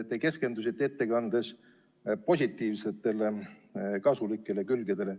Te keskendusite ettekandes positiivsetele, kasulikele külgedele.